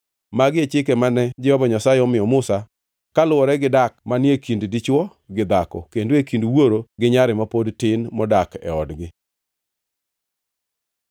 Magi e chike mane Jehova Nyasaye omiyo Musa kaluwore gidak manie kind dichwo gi dhako, kendo e kind wuoro gi nyare ma pod tin modak e odgi.